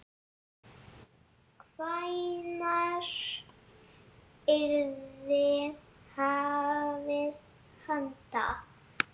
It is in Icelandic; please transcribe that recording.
Hvenær yrði hafist handa?